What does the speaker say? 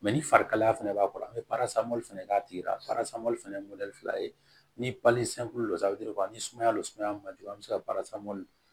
Mɛ ni farikalaya fana b'a kɔrɔ an bɛ fɛnɛ k'a tigi la fana fila ye ni ni sumaya don sumaya man jugu a bɛ se ka